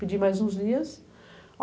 Pedi mais uns dias.